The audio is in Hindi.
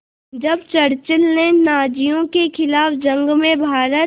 जब चर्चिल ने नाज़ियों के ख़िलाफ़ जंग में भारत